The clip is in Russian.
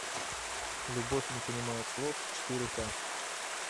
любовь не понимает слов четыре ка